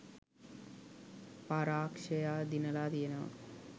පරාක්ෂයා දිනලා තියෙනවා.